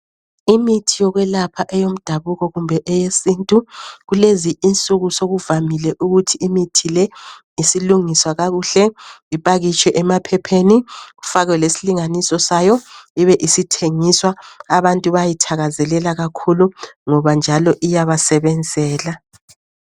Imithi yokwelapha eyomdabuko kumbe eyesintu kulezi insuku sokuvamile ukuthi imithi leyi isilungiswa kakuhle iphakitshwe emaphepheni kufake lesilinganiso sayo ibe isithengiswa abantu bayayithakazelela kakhulu ngoba njalo iyabasebenzela.